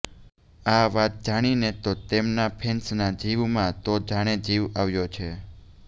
આ વાત જાણીને તો તેમના ફેન્સના જીવમાં તો જાણે જીવ આવ્યો છે